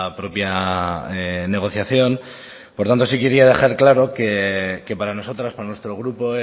propia negociación por tanto sí quería decir claro que para nosotros para nuestro grupo